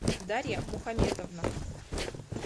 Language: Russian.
дарья мухаметовна